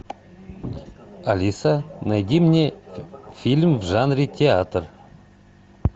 алиса найди мне фильм в жанре театр